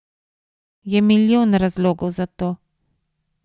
Je milijon razlogov za to.